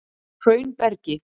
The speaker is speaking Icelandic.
Hraunbergi